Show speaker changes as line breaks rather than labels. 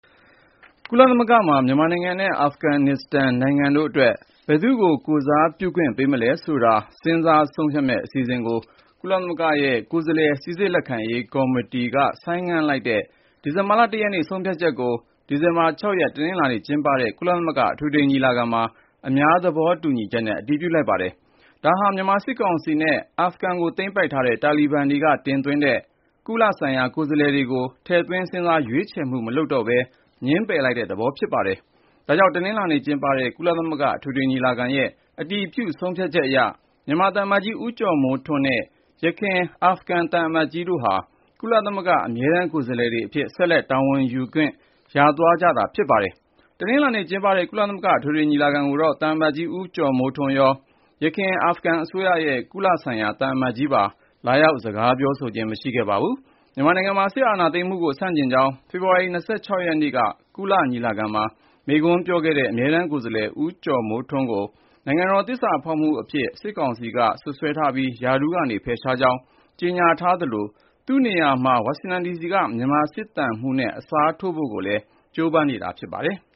ကုလသမဂ္ဂမှာ မြန်မာနိုင်ငံနဲ့ အာဖဂန်နစ္စတန် နိုင်ငံတို့အတွက် ဘယ်သူ့ကို ကိုယ်စားပြုခွင့် ပေးမလဲဆိုတာ စဉ်းစားဆုံးဖြတ်မယ့် အစီအစဉ်ကို ကုလသမဂ္ဂရဲ့ ကိုယ်စားလှယ် စိစစ်လက်ခံရေး ကော်မတီ (Credentials Committee) က ဆိုင်းငံ့လိုက်တဲ့ ဒီဇင်ဘာလ ၁ ရက်နေ့ ဆုံးဖြတ်ချက်ကို ဒီဇင်ဘာ ၆ ရက် တနင်္လာနေ့ကျင်းပတဲ့ ကုလသမဂ္ဂ အထွေထွေညီလာခံမှာ အများသဘောတူညီချက်နဲ့ အတည်ပြုလိုက်ကြပါတယ်။ ဒါဟာ မြန်မာစစ်ကောင်စီနဲ့ အာဖဂန်ကို သိမ်းပိုက်ခဲ့တဲ့ တာလီဘန်တွေက တင်သွင်းတဲ့ ကုလဆိုင်ရာ ကိုယ်စားလှယ်တွေကို ထည့်သွင်းစဉ်းစားရွေးချယ်မှု မလုပ်တော့ဘဲ ငြင်းပယ်လိုက်တဲ့ သဘောလည်း ဖြစ်ပါတယ်။ ဒါ့ကြောင့် တနင်္လာနေ့ကျင်းပတဲ့ ကုလသမဂ္ဂ အထွေထွေညီလာခံရဲ့ အတည်ပြု ဆုံးဖြတ်ချက်အရ မြန်မာသံအမတ်ကြီး ဦးကျော်မိုးထွန်းနဲ့ ယခင် အာဖဂန်သံအမတ်ကြီးတို့ဟာ ကုလသမဂ္ဂ အမြဲတမ်း ကိုယ်စားလှယ်တွေအဖြစ် ဆက်လက် တာဝန်ယူခွင့် ရသွားပါတယ်။ တနင်္လာနေ့ကျင်းပတဲ့ ကုလသမဂ္ဂ အထွေထွေညီလာခံကိုတော့ သံအမတ်ကြီး ဦးကျော်မိုးထွန်းရော ယခင် အာဖဂန်အစိုးရရဲ့ ကုလဆိုင်ရာ သံအမတ်ကြီးပါ လာရောက်စကားပြောဆိုခြင်း မရှိခဲ့ပါဘူး။ မြန်မာနိုင်ငံမှာ စစ်အာဏာသိမ်းမှုကို ဆန့်ကျင်ကြောင်း ဖေဖော်ဝါရီ ၂၆ ရက်နေ့က ကုလသမဂ္ဂ ညီလာခံမှာ မိန့်ခွန်းပြောခဲ့တဲ့ အမြဲတမ်းကိုယ်စားလှယ် ဦးကျော်မိုးထွန်းကို နိုင်ငံတော်သစ္စာဖောက်အဖြစ် စစ်ကောင်စီက စွပ်စွဲထားပြီး ရာထူးက ဖယ်ရှားကြောင်း ကြေညာထားသလို သူ့နေရာမှာ ဝါရှင်တန်ဒီစီက မြန်မာစစ်သံမှူးနဲ့ အစားထိုးဖို့ကိုလည်း ကြိုးပမ်းနေတာ ဖြစ်ပါတယ်။